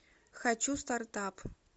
хочу стартап